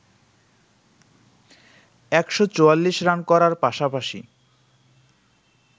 ১৪৪ run করার পাশাপাশি